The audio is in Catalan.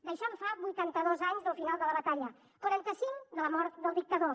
d’això en fa vuitanta dos anys del final de la batalla quaranta cinc de la mort del dictador